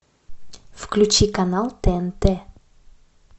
включи канал тнт